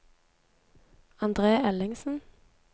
Andre Ellingsen